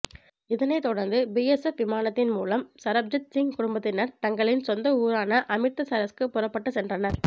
இதனைத் தொடர்ந்து பிஎஸ்எப் விமானத்தின் மூலம் சரப்ஜித் சிங் குடும்பத்தினர் தங்களின் சொந்த ஊரான அமிர்தசரஸ்க்கு புறப்பட்டு சென்றனர்